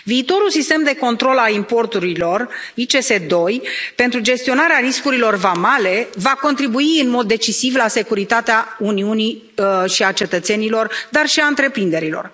Viitorul sistem de control al importurilor ICS2 pentru gestionarea riscurilor vamale va contribui în mod decisiv la securitatea Uniunii și a cetățenilor, dar și a întreprinderilor.